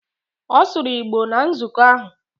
Ọ sụrụ Igbo na nzukọ ahụ.